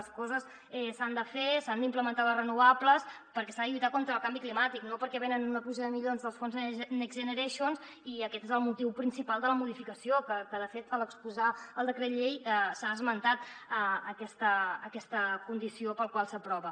les coses s’han de fer s’han d’implementar les renovables perquè s’ha de lluitar contra el canvi climàtic no perquè venen una pluja de milions dels fons next generation i aquest és el motiu principal de la modificació que de fet a l’exposar el decret llei s’ha esmentat aquesta condició per la qual s’aprova